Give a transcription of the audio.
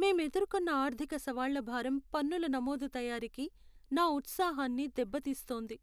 మేం ఎదుర్కొన్న ఆర్థిక సవాళ్ల భారం పన్నుల నమోదు తయారీకి నా ఉత్సాహాన్ని దెబ్బతీస్తోంది.